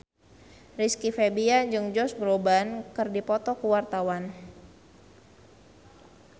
Rizky Febian jeung Josh Groban keur dipoto ku wartawan